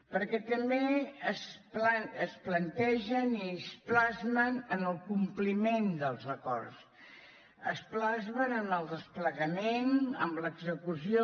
perquè també es plantegen i es plasmen en el compliment dels acords es plasmen en el desplegament en l’execució